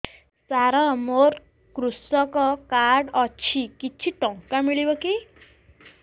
ସାର ମୋର୍ କୃଷକ କାର୍ଡ ଅଛି କିଛି ଟଙ୍କା ମିଳିବ କି